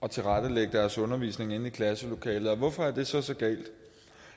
og tilrettelægge deres undervisning inde i klasselokalet og hvorfor er det så så galt